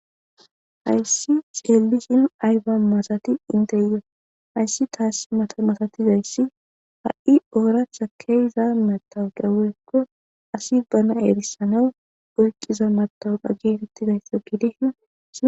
hayssi xeellishin ayba masati inteyo hayssi taas mamasatizayssi ha7i ooratha ke'iza matawu ga wokko asi bana eerissanaw oyqqiza matawudha geetettidayssa gidishn